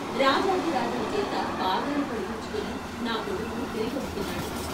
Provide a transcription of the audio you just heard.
రాజాధి రాజుల చేత పాదాలు కడిగించుకుని నా కొడుకు తిరిగొస్తున్నాడు.